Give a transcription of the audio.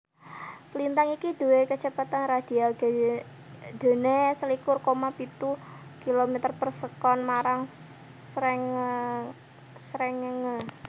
Lintang iki duwé kacepetan radhial gedhéné selikur koma pitu km per sekon marang srengéngé